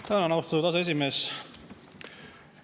Tänan, austatud aseesimees!